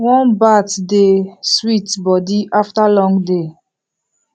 warm bath dey sweet body after long day